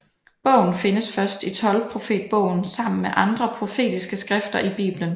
Bogen findes først i tolvprofetbogen sammen med andre profetiske skrifter i Bibelen